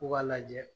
U k'a lajɛ